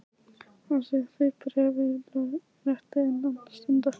Framvísaðu því bréfi í lögréttu innan stundar.